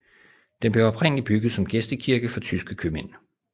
Den blev oprindelig bygget som gæstekirke for tyske købmænd